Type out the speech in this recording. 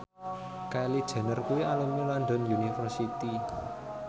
Kylie Jenner kuwi alumni London University